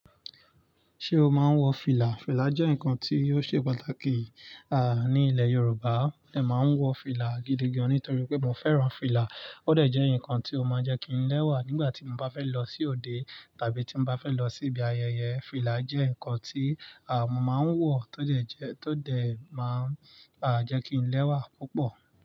Ṣé o máa ń wọ fìlà? Fìlà jẹ́ nǹkan tí ó ṣe pàtàkì, à, ní ilẹ̀ Yorùbá. Mo dẹ̀ máa ń wọ fìlà gidi gan-an nítorí pé mo fẹ́ràn fìlà. Ó dẹ̀ jẹ́ nǹkan tí ó máa ń jẹ́ kí n lẹ́wà nígbà tí mo bá fẹ́ lọ sí òde tàbí tí n bá fẹ́ lọ sí ibi ayẹyẹ. Fìlà jẹ́ nǹkan tí, à, mo máa ń wọ tó dẹ̀ jẹ-- tó dẹ̀ máa ń, à, jẹ́ kí n lẹ́wà púpọ̀.